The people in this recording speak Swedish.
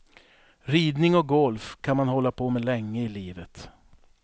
Ridning och golf kan man hålla på med länge i livet.